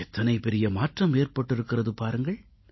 எத்தனை பெரிய மாற்றம் ஏற்பட்டிருக்கிறது பாருங்கள்